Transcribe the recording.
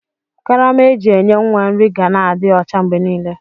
Karama eji enye nwa nri ga na adi ọcha mgbenile.